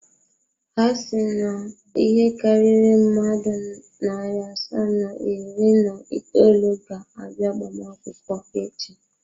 Ha si na ịhe karịrị mmadụ narị asaa na iri na itoolu ga-abịa agbamakwụkwọ echi.